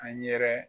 An yɛrɛ